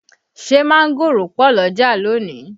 Ṣé mángòrò pọ̀ l'ọ́jà lónìí?